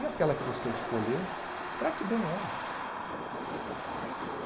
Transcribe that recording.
E aquela que você escolher, trate bem ela.